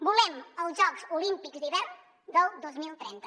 volem els jocs olímpics d’hivern del dos mil trenta